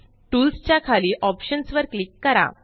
tools च्या खाली options वर क्लिक करा